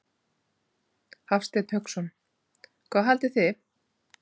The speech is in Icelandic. Hafsteinn Hauksson: Hvað haldið þið?